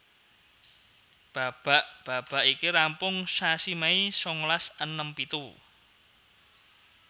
Babak babak iki rampung sasi Mei sangalas enem pitu